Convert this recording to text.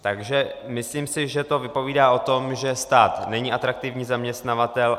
Takže si myslím, že to vypovídá o tom, že stát není atraktivní zaměstnavatel.